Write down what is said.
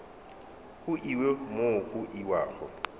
go iwe mo go iwago